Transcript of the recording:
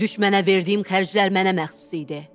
Düşmənə verdiyim xərclər mənə məxsus idi.